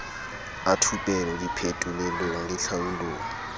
a thupelo diphetolelong le tlhaolong